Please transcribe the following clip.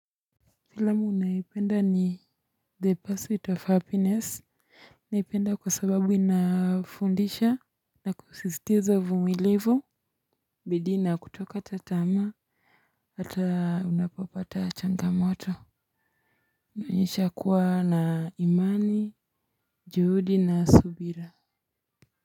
Filamu ninayoipenda ni the pursuit of happiness, naipenda kwa sababu inafundisha na kusisitiza vumilivu, bidii na kuto kata tamaa, hata unapopata changa moto. Unaonyesha kuwa na imani, juhudi na subira.